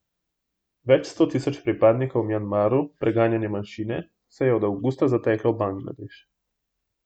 Več sto tisoč pripadnikov v Mjanmaru preganjane manjšine se je od avgusta zateklo v Bangladeš.